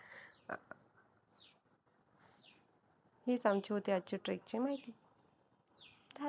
हीच आमची होती आजची trek ची माहिती